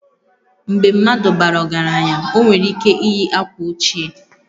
Mgbe mmadụ bara ọgaranya, o nwere ike iyi akwa ochie